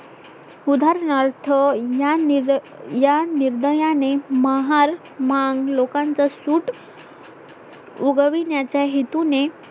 उदाहरणार्थ या निर्दयाने महार मांग लोकांचा सूट उगविण्याच्या हेतूने